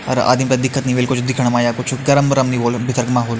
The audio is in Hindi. और आदिम थे दिक्कत नि होली कुछ दिखयण मा या कुछ गरम वरम नि होलु भितर मा होल --